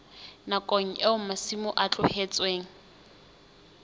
nakong eo masimo a tlohetsweng